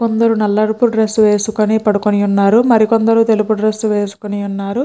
కొందరు నలుపు డ్రెస్ వేసుకుని పడుకుని ఉన్నారు మరి కొందరు తెలుపు డ్రెస్ వేసుకుని ఉన్నారు.